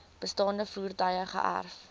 bestaande voertuie geërf